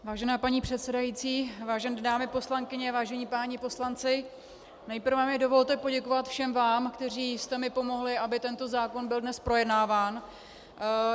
Vážená paní předsedající, vážené dámy poslankyně, vážení páni poslanci, nejprve mi dovolte poděkovat všem vám, kteří jste mi pomohli, aby tento zákon byl dnes projednáván.